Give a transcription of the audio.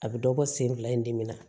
A bɛ dɔ bɔ sen fila in dimi na